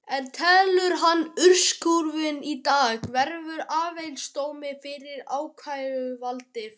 En telur hann úrskurðinn í dag vera áfellisdóm fyrir ákæruvaldið?